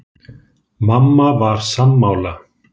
Mamma var sammála.